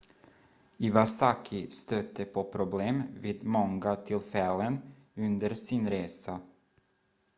iwasaki stötte på problem vid många tillfällen under sin resa